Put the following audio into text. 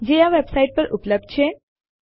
જે આ વેબસાઇટ પર ઉપલબ્ધ છે